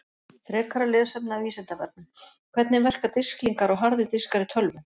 Frekara lesefni af Vísindavefnum: Hvernig verka disklingar og harðir diskar í tölvum?